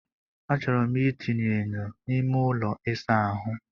Achọrọ m itinye enyo n'ime ụlọ ịsa ahụ.